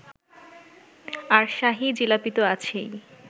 আর শাহী জিলাপিতো আছেই